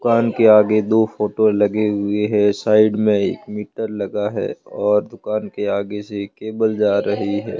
दुकान के आगे दो फोटो लगे हुए हैं साइड में एक मीटर लगा है और दुकान के आगे से एक केबल जा रही है।